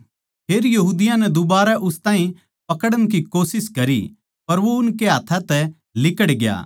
फेर यहूदियाँ नै दुबारै उस ताहीं पकड़न की कोशिश करी पर वो उनके हाथ्थां तै लिकड़ ग्या